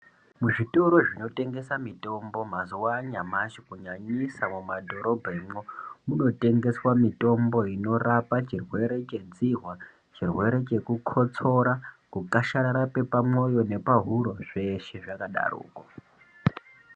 Muzvitoro zvinotengesa mitombo mazuwa anyamashi kunyanyisa mumadhorobhamwo, kunotengeswa mitombo inorapa chirwere chedzihwa, chirwere chekukotsora, kukasharara kwepamwoyo nepahuro zveshe zvakadaroko.